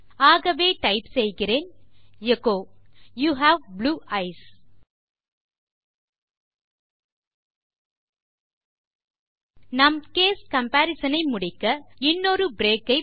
ஆகவே டைப் செய்கிறேன் echo you have blue eyes நம் கேஸ் கம்பரிசன் ஐ முடிக்க இன்னொரு பிரேக் ஐ